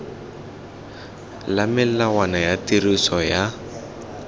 le melawana ya tiriso ya